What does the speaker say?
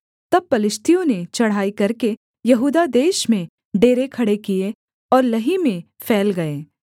तब पलिश्तियों ने चढ़ाई करके यहूदा देश में डेरे खड़े किए और लही में फैल गए